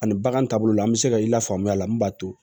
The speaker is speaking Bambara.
Ani bagan taabolo la an bɛ se ka i la faamuya a la min b'a to